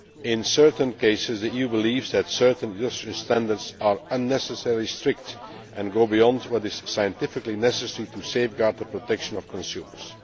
In certain cases the EU believes that certain Russian standards are unnecessarily strict and go beyond what is scientifically necessary to safeguard the protection of consumers.